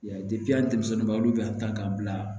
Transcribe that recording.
Yan denmisɛnninba olu bɛ yan tan k'an bila